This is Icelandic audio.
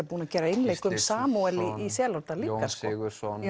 búinn að gera einleik um Samúel í Selárdal líka Jón Sigurðsson